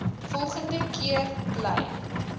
volgende keer bly